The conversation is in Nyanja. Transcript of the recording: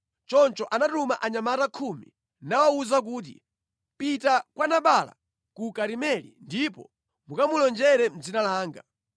Choncho anatuma anyamata khumi nawawuza kuti, “Pitani kwa Nabala ku Karimeli ndipo mukamulonjere mʼdzina langa.